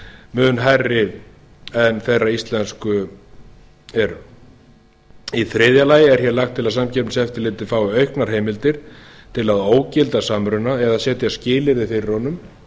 mun hærri en þeirra íslensk í þriðja lagi er hér lagt til að samkeppniseftirlitið fái auknar heimila til að ógilda samruna eða setja skilyrði fyrir honum